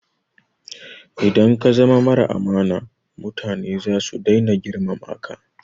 Idan ka zama mara amana mutane zasu dai na girmama ka